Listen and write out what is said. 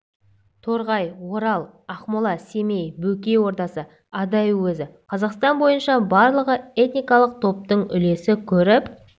торғай орал ақмола семей бөкей ордасы адай уезі қазақстан бойынша барлығы этникалық топтың үлесі көріп